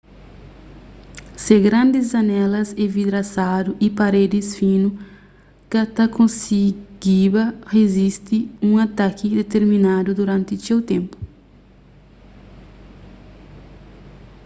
se grandis janelas envidrasadu y paredis finu ka ta konsigiba rizisti un ataki diterminadu duranti txeu ténpu